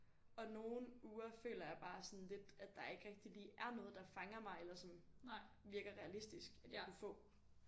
Og nogle uger føler jeg bare sådan lidt at der ikke rigtig lige er noget der fanger mig eller som virker realistisk at jeg kunne få